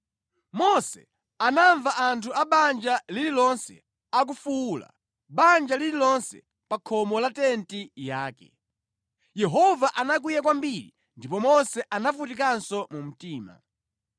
Mose anamva anthu a banja lililonse akufuwula, banja lililonse pa khomo la tenti yake. Yehova anakwiya kwambiri ndipo Mose anavutikanso mu mtima.